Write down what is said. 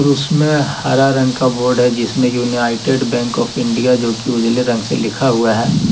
उसमें हरा रंग का बोर्ड है जिसमें यूनाइटेड बैंक आफ इंडिया जो की उजले रंग से लिखा हुआ है।